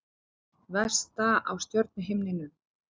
Vesta á stjörnuhimninum